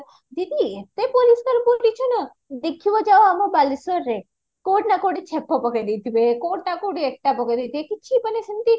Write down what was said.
ଦିଦି ଏତେ ପରିଷ୍କାର ପରିଚ୍ଛନ ଦେଖିବା ଯାଅ ଆମ ବାଲେଶ୍ଵରରେ କଉଠି ନା କଉଠି ଛେପ ପକେଇ ଦେଇଥିବେ କଉଠି ନା କଉଠି ଇଟା ପକେଇଦେଇଥିବେ କିଛି ମାନେ ସେମତି